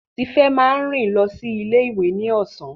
Tife máa rìn lọ sí ilé ìwé ní ọ̀sán.